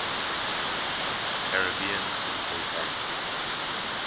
caribbean central bank